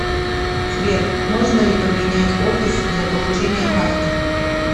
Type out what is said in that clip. сбер можно ли поменять офис для получения карты